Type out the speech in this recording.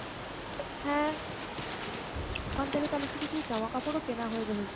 হ্যাঁ, ওখান থেকে তালে একটু কিছু জামা কাপর ও কেনা হয়ে যাবে ।